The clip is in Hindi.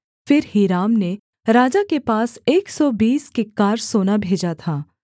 फिर हीराम ने राजा के पास एक सौ बीस किक्कार सोना भेजा था